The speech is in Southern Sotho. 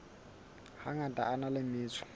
hangata a na le metso